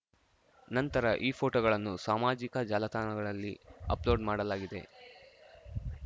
ನಂತರ ಈ ಫೋಟೋಗಳನ್ನು ಸಾಮಾಜಿಕ ಜಾಲತಾಣಗಳಲ್ಲಿ ಅಪ್‌ಲೋಡ್‌ ಮಾಡಲಾಗಿದೆ